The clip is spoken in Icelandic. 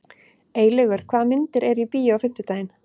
Eylaugur, hvaða myndir eru í bíó á fimmtudaginn?